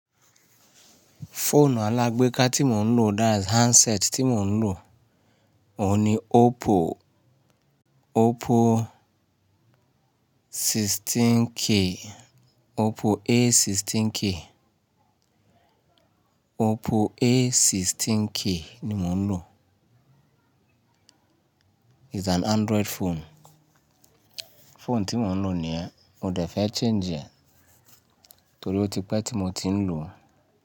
Fóònù alágbéka tí mò ń lò, that's handset tí mò ń lò, òun ni Oppo, Oppo 16K, Oppo A16K, Oppo A16K ni mò ń lò. It's an Android phone. Fóònù tí mò ń lò ni, mo dé fẹ́ change ẹ, torí ó ti pẹ́ tí mò ti ń lò ó.